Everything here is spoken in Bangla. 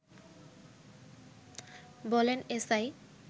বলেন এসআই